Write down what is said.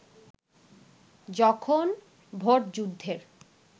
যখন ভোটযুদ্ধের